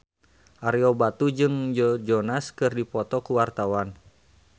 Ario Batu jeung Joe Jonas keur dipoto ku wartawan